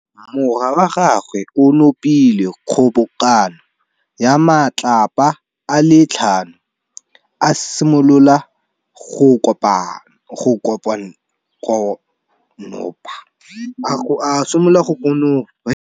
Morwa wa gagwe o nopile kgobokanô ya matlapa a le tlhano, a simolola go konopa.